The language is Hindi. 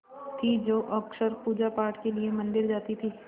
जो अक्सर पूजापाठ के लिए मंदिर जाती थीं